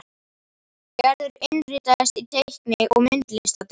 Gerður innritaðist í teikni- og myndlistadeild.